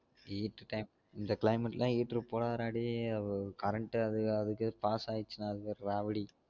heater time இந்த climate குலாம் heater போடாத டா டேய் current அது அதுக்கு வேற pass ஆயிருச்சுனா அது வேற ராவடி